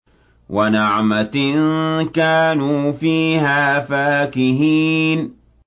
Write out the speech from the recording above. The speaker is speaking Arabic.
وَنَعْمَةٍ كَانُوا فِيهَا فَاكِهِينَ